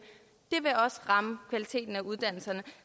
ramme kvaliteten af uddannelserne